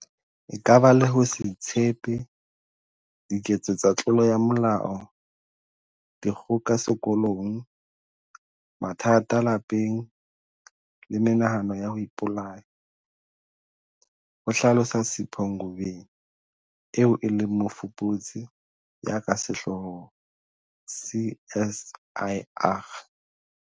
"E ka baka le ho se itshepe, diketso tsa tlolo ya molao, dikgoka sekolong, mathata lapeng le menahano ya ho ipolaya," ho hlalosa Sipho Ngobeni eo e leng mofuputsi ya ka sehloohong CSIR.